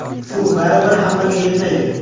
Suv baribir hammaga yetmaydi.